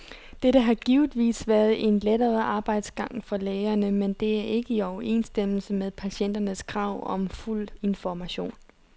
Dette har givetvis været en lettere arbejdsgang for lægerne, men det er ikke i overensstemmelse med patienternes krav om fuld information.